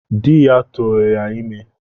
Ya turu ya ime